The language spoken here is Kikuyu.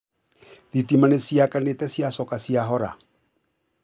Thitima nĩ ciraakanĩte ciracoka cirahora